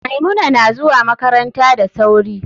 Maimuna nazuwa makaranta da sauri.